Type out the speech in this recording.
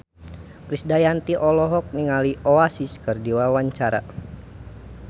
Krisdayanti olohok ningali Oasis keur diwawancara